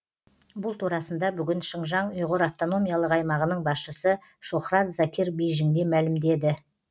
бұл турасында бүгін шыңжаң ұйғыр автономиялық аймағының басшысы шохрат закир бейжіңде мәлімдеді